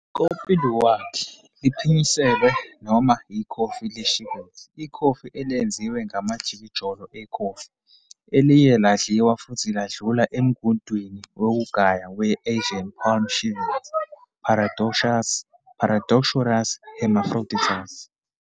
"Kopi luwak", liphinyiselwe, noma "ikhofi le-civet", ikhofi elenziwe ngamajikijolo ekhofi eliye ladliwa futhi ladlula emgudwini wokugaya we-Asian palm civet, "Paradoxurus hermaphroditus".